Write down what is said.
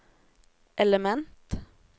element